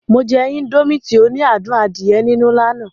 Mo jẹ indomie tí ó ní adùn adíẹ nínú ní àná